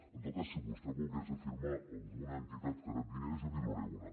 en tot cas si vostè volgués afirmar alguna entitat que rep diners jo li’n donaré una